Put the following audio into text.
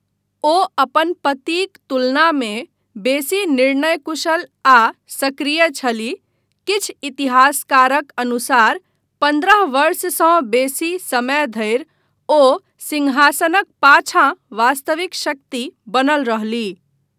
ओ अपन पतिक तुलनामे बेसी निर्णयकुशल आ सक्रिय छलीह, किछु इतिहासकारक अनुसार पन्द्रह वर्षसँ बेसी समय धरि ओ सिंहासनक पाछाँ वास्तविक शक्ति बनल रहलीह।